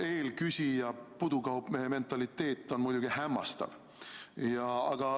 Eelküsija pudukaupmehe mentaliteet on muidugi hämmastav.